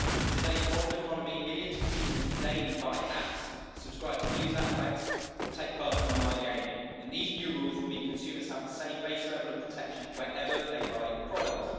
In today's modern economy, millions of people daily buy apps, subscribe to news outlets, or take part in online gaming, and these new rules will mean consumers have the same base level of protection wherever they buy products.